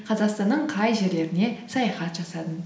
қазақстанның қай жерлеріне саяхат жасадың